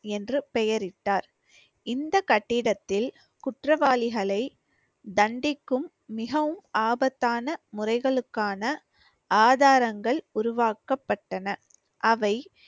என்று பெயரிட்டார். இந்த கட்டிடத்தில் குற்றவாளிகளை தண்டிக்கும் மிகவும் ஆபத்தான முறைகளுக்கான ஆதாரங்கள் உருவாக்கப்பட்டன. அவை